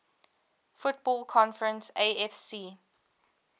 football conference afc